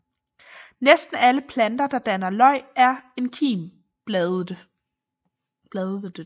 Næsten alle planter der danner løg er enkimbladede